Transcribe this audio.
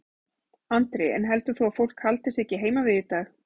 Andri: En heldur þú að fólk haldi sig ekki heima við í dag?